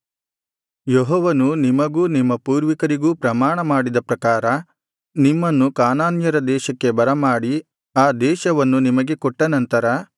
ಯೆಹೋವನು ನಿಮಗೂ ನಿಮ್ಮ ಪೂರ್ವಿಕರಿಗೂ ಪ್ರಮಾಣಮಾಡಿದ ಪ್ರಕಾರ ನಿಮ್ಮನ್ನು ಕಾನಾನ್ಯರ ದೇಶಕ್ಕೆ ಬರಮಾಡಿ ಆ ದೇಶವನ್ನು ನಿಮಗೆ ಕೊಟ್ಟ ನಂತರ